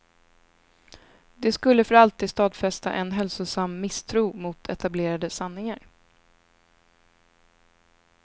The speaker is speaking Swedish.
Det skulle för alltid stadfästa en hälsosam misstro mot etablerade sanningar.